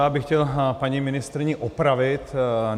Já bych chtěl paní ministryni opravit.